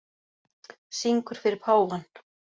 Syngur fyrir páfann